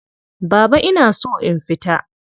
Baba ina so in fita.